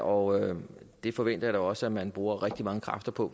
og det forventer jeg da også at man bruger rigtig mange kræfter på